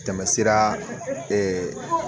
Tɛmɛ sira